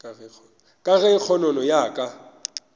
ka ge kgonono ya ka